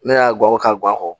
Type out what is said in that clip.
Ne y'a gawo ka gan kɔ